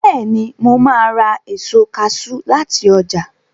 Bẹ́ẹ̀ni, mo ns ra èso kaṣú láti ọjà